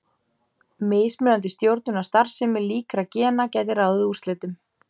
Mismunandi stjórnun á starfsemi líkra gena gæti ráðið úrslitum.